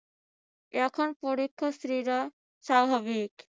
এখন পরীক্ষার্থীরা স্বাভাবিক।